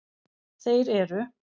Þeir eru: